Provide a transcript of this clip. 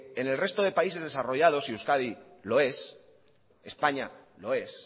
en el resto de países desarrollado y euskadi lo es españa lo es